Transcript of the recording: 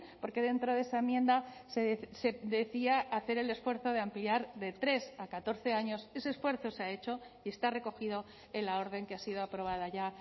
porque dentro de esa enmienda se decía hacer el esfuerzo de ampliar de tres a catorce años ese esfuerzo se ha hecho y está recogido en la orden que ha sido aprobada ya